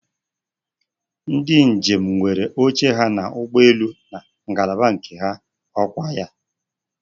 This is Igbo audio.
Ndi njem nwere oche ha n'ụgbọelu na ngalaba nke ha, ọkwaya?